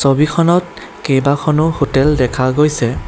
ছবিখনত কেইবাখনো হোটেল দেখা গৈছে।